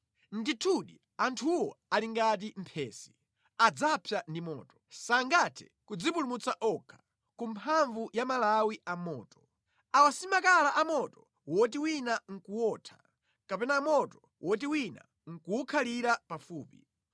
Ndithudi, anthuwo ali ngati phesi; adzapsa ndi moto. Sangathe kudzipulumutsa okha ku mphamvu ya malawi a moto. Awa si makala a moto woti wina nʼkuwotha; kapena moto woti wina nʼkuwukhalira pafupi.